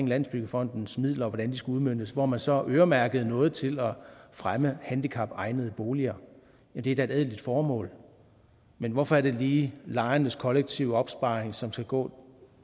landsbyggefondens midler skulle udmøntes hvor man så øremærkede noget til at fremme handicapegnede boliger det er da et ædelt formål men hvorfor er det lige lejernes kollektive opsparing som skal gå